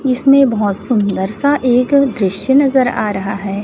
इसमें बहोत सुंदर सा एक दृश्य नजर आ रहा है।